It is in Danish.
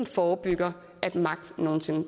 forebygge at magt